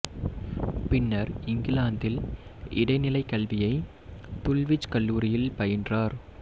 பின்னர் இங்கிலாந்தில் இடை நிலைக் கல்வியை துல்விச் கல்லூரியில் பயின்றார்